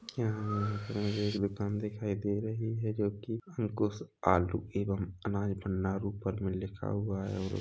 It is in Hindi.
यहाँ-यहाँ पर मुझे एक दूकान दिखाई दे रही है जोकि अंकुश आलू एवं अनाज भंडार ऊपर मे लिखा हुआ है और --